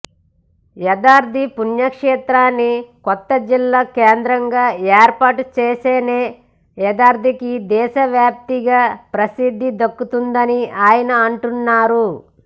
యాదాద్రి పుణ్యక్షేత్రాన్ని కొత్త జిల్లా కేంద్రంగా ఏర్పాటు చేస్తేనే యాదాద్రికి దేశవ్యాప్తంగా ప్రసిద్ధి దక్కుతుందని ఆయన అంటున్నారు